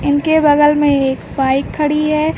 उनके बगल में एक बाइक खड़ी है।